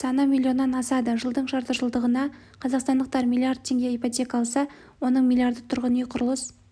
саны миллионнан асады жылдың жартыжылдығына қазақстандықтар млрд теңге ипотека алса оның млдр-ы тұрғын үй құрылыс